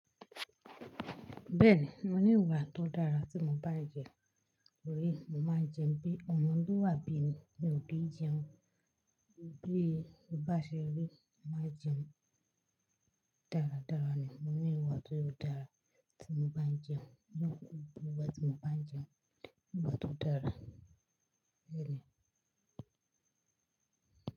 Bẹ́ẹ̀ni, mo ní ìwà tó dára tí mo bá ń jẹun, òbí mo máa ń jẹun bí, ọmọ tó wà bí mi ni òbí jẹun, bí ó bá ṣe rí, máa jẹun. Dáradára ni, mo ní ìwà tó dára tí mo bá ń jẹun, tí mo bá tí mo bá ń jẹun, ìwà tó dára, bẹ́ẹ̀ni.